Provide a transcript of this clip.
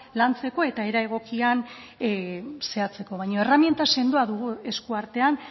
lantzeko eta era egokian zehatzeko baina erreminta sendoa dugu esku artean